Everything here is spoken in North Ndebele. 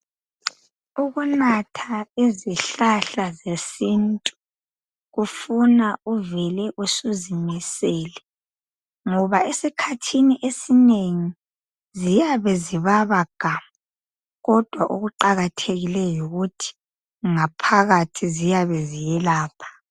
Ukunatha izihlahla zesintu kufuna uvele usuzimisele ngoba esikhathini esinengi ziyabe zibaba gamu kodwa okuqakathekileyo yikuthi ngaphakathi ziyabe ziyelapha.